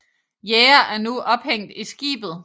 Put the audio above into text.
Jæger er nu ophængt i skibet